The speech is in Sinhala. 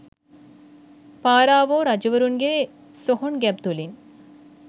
පාරාවෝ රජවරුන්ගේ සොහොන් ගැබ් තුළින්